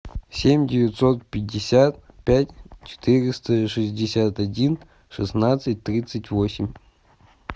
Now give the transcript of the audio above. семь девятьсот пятьдесят пять четыреста шестьдесят один шестнадцать тридцать восемь